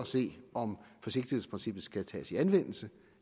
se om forsigtighedsprincippet skal tages i anvendelse